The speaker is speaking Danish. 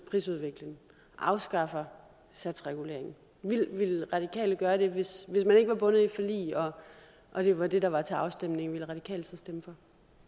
prisudvikling og afskaffer satsreguleringen ville radikale gøre det hvis man ikke var bundet af et forlig og og det var det der var til afstemning ville radikale så stemme for